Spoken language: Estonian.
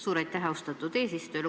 Suur aitäh, austatud eesistuja!